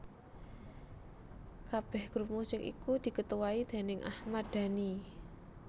Kabeh grup musik iku diketuai déning Ahmad Dhani